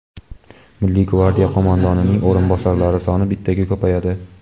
Milliy gvardiya qo‘mondonining o‘rinbosarlari soni bittaga ko‘payadi.